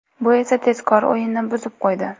Bu esa tezkor o‘yinni buzib qo‘ydi.